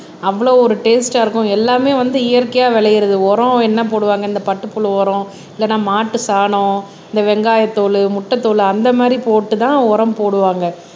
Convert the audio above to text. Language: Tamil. அவ்வளவு ஒரு டேஸ்ட்டா இருக்கும் எல்லாமே வந்து இயற்கையா விளையுறது உரம் என்ன போடுவாங்க இந்த பட்டுப்புழு உரம் இல்லேன்னா மாட்டு சாணம் இந்த வெங்காயத்தூள் முட்டைத் தோலு அந்த மாதிரி போட்டுதான் உரம் போடுவாங்க